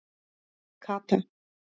Kata